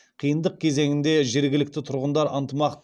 қиындық кезеңінде жергілікті тұрғындар ынтымақ